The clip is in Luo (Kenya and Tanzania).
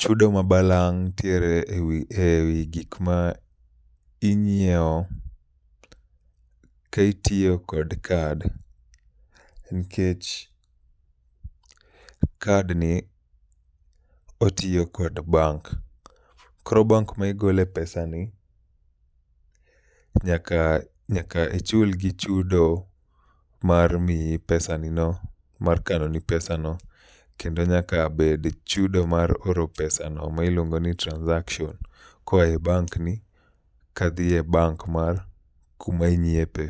Chudo ma balang' ntiere ewi e wi gik ma inyiewo, ka itiyo kod kad nkech kadni otiyo kod bank. Koro bank ma igole pesa ni, nyaka, nyaka ichulgi chudo mar miyi pesa ni no, mar kano ni pesa ni no. Kendo nyaka bed chudo mar oro pesa ni ma iluongo ni transaction, koa e bank ni kadhi e bank mar kuma inyiepe.